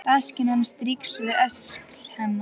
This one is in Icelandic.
Rasskinn hans strýkst við öxl hennar.